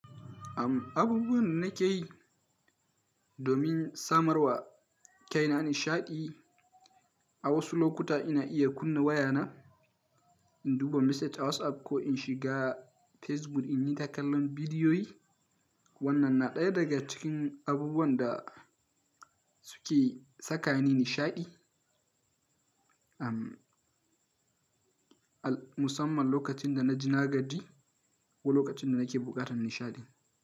Abubuwan da nake yi domin samarwa kaina nishaɗi, a wasu lokuta ina iya kunna wayana, in duba message a WhatsApp ko in shiga Facebook in nita kallon bidiyoyi. Wannan na ɗaya daga cikin abubuwan da suke saka ni nishaɗi, am al musamman lokacin da na ji nagadi ko lokacin da nake buƙatar nishaɗi.